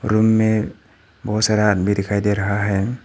Room में बहुत सारा आदमी दिखाई दे रहा है।